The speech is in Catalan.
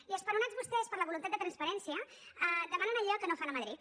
i esperonats vostès per la voluntat de transparència demanem allò que no fan a madrid